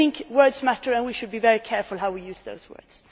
Words matter and we should be very careful how we use those words.